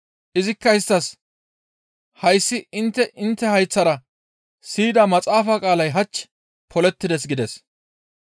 Izikka isttas, «Hayssi intte intte hayththara siyida maxaafa qaalay hach polettides» gides.